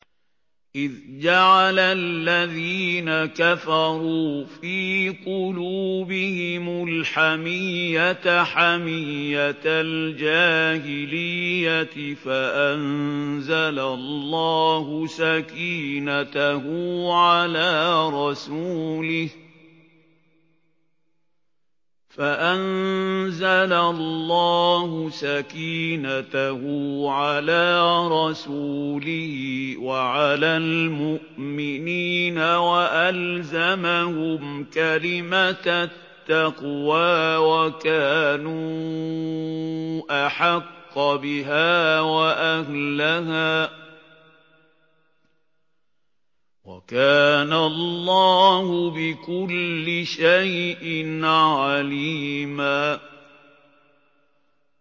إِذْ جَعَلَ الَّذِينَ كَفَرُوا فِي قُلُوبِهِمُ الْحَمِيَّةَ حَمِيَّةَ الْجَاهِلِيَّةِ فَأَنزَلَ اللَّهُ سَكِينَتَهُ عَلَىٰ رَسُولِهِ وَعَلَى الْمُؤْمِنِينَ وَأَلْزَمَهُمْ كَلِمَةَ التَّقْوَىٰ وَكَانُوا أَحَقَّ بِهَا وَأَهْلَهَا ۚ وَكَانَ اللَّهُ بِكُلِّ شَيْءٍ عَلِيمًا